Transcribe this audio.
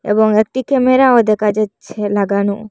এবং একটি ক্যামেরাও দেকা যাচ্ছে লাগানো।